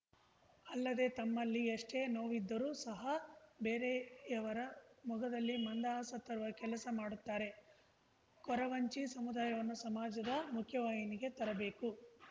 ಅಲ್ಲದೆ ತಮಲ್ಲಿ ಏಷ್ಟೇ ನೋವಿದ್ದರು ಸಹ ಬೇರೆಯವರ ಮೊಗದಲ್ಲಿ ಮಂದಹಾಸ ತರುವ ಕೆಲಸ ಮಾಡುತ್ತಾರೆ ಕೊರವಂಜಿ ಸಮುದಾಯವನ್ನು ಸಮಾಜದ ಮುಖ್ಯವಾಹಿನಿಗೆ ತರಬೇಕು